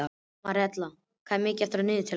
Marínella, hvað er mikið eftir af niðurteljaranum?